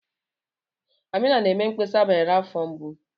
Amina na-eme mkpesa banyere afọ mgbu.